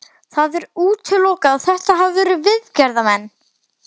Það er útilokað að þetta hafi verið viðgerðarmenn.